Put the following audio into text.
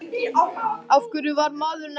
Af hverju varð maðurinn ekki rithöfundur?